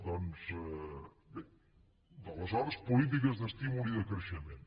doncs bé aleshores polítiques d’estímul i de creixement